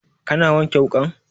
Ka na wanke wukan?